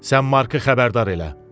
Sən Markı xəbərdar elə.